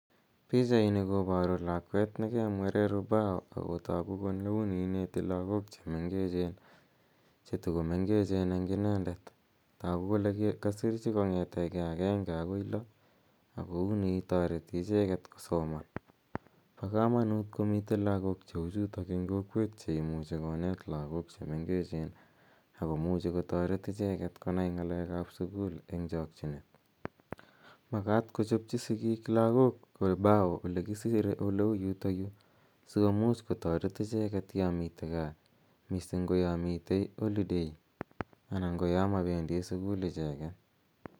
Pichaini koparu lakweet ne ke mwerer ubao ako tagu kole uni ineeti lagook che mengechen, che tu go mengechen eng' inendet. Tagu kole kasirchi kong'ete gei agenge akoi lo ako uni tareti icheget kosoman. Pa kamanuut komitei lagook che u chutok eng' kokweet che imuchi koneet lagok che mengechen ako muchi kotaret icheget konai ng'aleek ap sukul eng' chakchinet. Makat kochopchi sigiik lagok ubao ole kisirei ole u yutayu si komuch kotaret icheget ya mitei gaa, missing' ko ya mitei holiday anan ko ya mapendi sukul icheget.